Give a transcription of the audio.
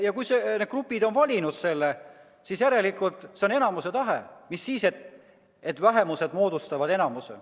Kui need grupid on valinud, siis järelikult on see enamuse tahe, mis siis, et vähemused moodustavad enamuse.